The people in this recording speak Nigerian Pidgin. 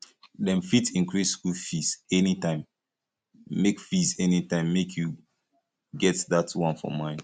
dem fit increase skool fees anytime make fees anytime make you get dat one for mind